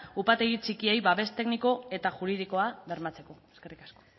upategi txikiei babes tekniko eta juridikoa bermatzeko eskerrik asko